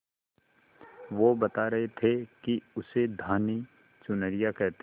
वो बता रहे थे कि उसे धानी चुनरिया कहते हैं